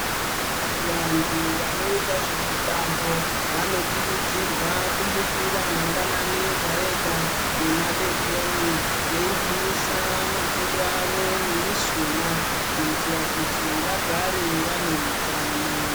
Vantu vanoita zvemitambo vanokurudzirwa kumukira mangwanani ega ega madekoni veigwinyusa makodo avo nemushuna kuitira kuti vagare vane hutano.